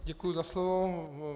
Děkuji za slovo.